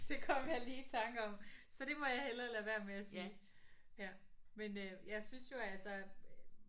Det kom jeg lige i tanke om så det må jeg hellere lade være med at sige ja men øh jeg synes jo altså